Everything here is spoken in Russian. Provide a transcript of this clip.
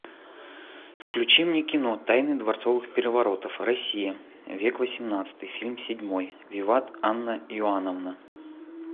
включи мне кино тайны дворцовых переворотов россия век восемнадцатый фильм седьмой виват анна иоановна